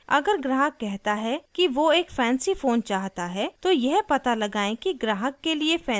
अगर ग्राहक कहता है कि वो एक फैंसी फ़ोन चाहता है तो यह पता लगाएं कि ग्राहक के लिए फैंसी का मतलब क्या है